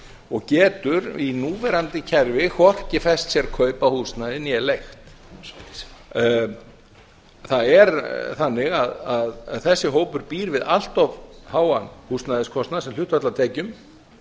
og getur í núverandi kerfi hvorki fest sér kaup á húsnæði né leigt það er þannig að þessi hópur býr við allt of háan húsnæðiskostnað sem hlutfall af tekjum